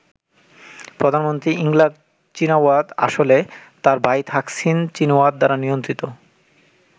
প্রধানমন্ত্রী Yingluck Shinawatra আসলে তাঁর ভাই থাকসিন চীনাওয়াত দ্বারা নিয়ন্ত্রিত।